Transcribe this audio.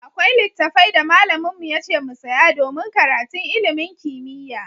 Akwai littafai da malamin mu yace mu saya domin karatun ilimin kimiyya.